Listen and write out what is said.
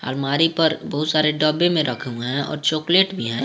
अलमारी पर बहुत सारे डब्बे में रखा हुआ हैं और चॉकलेट भी हैं।